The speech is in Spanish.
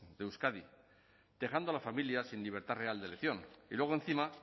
de euskadi dejando a la familia sin libertad real de elección y luego encima